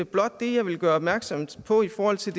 blot det jeg ville gøre opmærksom på i forhold til